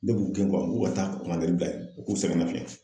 Ne b'u gɛn n k'u ka taa'a bila ye u k'u sɛgɛnna fiɲɛ